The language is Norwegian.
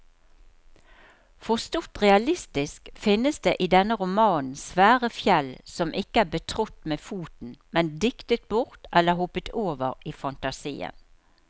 Forstått realistisk finnes det i denne romanen svære fjell som ikke er betrådt med foten, men diktet bort eller hoppet over i fantasien.